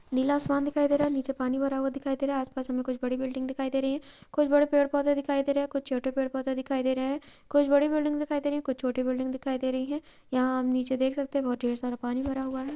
नीला आसमान दिखाई दे रहा है| नीचे पानी भरा हुआ दिखाई दे रहा है| आस-पास हमें कुछ बड़ी बिल्डिंग दिखाई दे रही है| कुछ बड़े पेड़-पौधे दिखाई दे रहे हैं| कुछ छोटे पेड़-पौधे दिखाई दे रहे हैं कुछ बड़ी बिल्डिंग दिखाई दे रही हैं| कुछ छोटी बिल्डिंग दिखाई दे रही है| यहाँ हम नीचे देख सकते हैं बहुत ढेर सारा पानी भरा हुआ है।